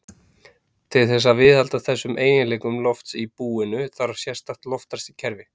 Til þess að viðhalda þessum eiginleikum lofts í búinu þarf sérstakt loftræstikerfi.